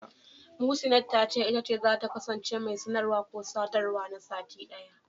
Muhsinat ta ce, ita ce zata kasance mai sanarwa/sadawa na sati ɗaya.